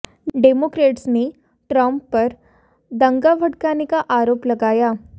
Democrats ने Trump पर दंगा भड़काने का आरोप लगाया